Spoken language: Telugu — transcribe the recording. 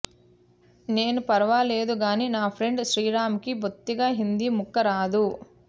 నేను ఫర్వాలేదుగానీ నా ఫ్రెండ్ శ్రీరామ్కి బొత్తిగా హిందీ ముక్క రాదు